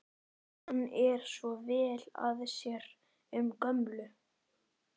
Hann er svo vel að sér um gömlu